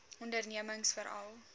ondernemingsveral